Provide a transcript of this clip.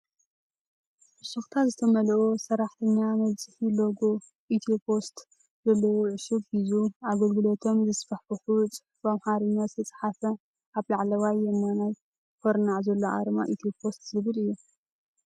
ፍሽኽታ ዝመልኦ ሰራሕተኛ መብፅሒ ሎጎ ኢትዮፖስት ዘለዎ ዕሹግ ሒዙ። ኣገልግሎቶም ዘስፋሕፍሕ ፅሑፍ ብኣምሓርኛ ዝተፃሓፈ ኣብ ላዕለዋይ የማናይ ኩርናዕ ዘሎ ኣርማ ኢትዮፖስት ዝብል እዩ።